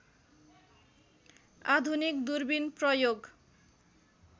आधुनिक दूरबिन प्रयोग